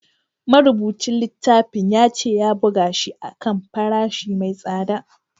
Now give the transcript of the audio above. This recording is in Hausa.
Marubucin littafin ya ce ya buga shi a kan farashi mai tsada